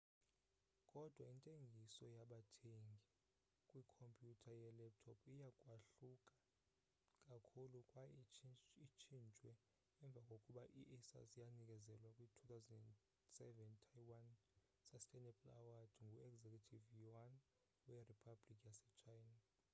kodwa intengiso yabathengi kwikhompyuter yelaptop iya kwahluka kakhulu kwaye itshintshwe emva kokuba i-asus yanikezelwa kwi-2007 taiwan sustainable award ngu-executive yuan weriphabhlikhi yase china